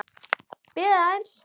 Bíðið aðeins!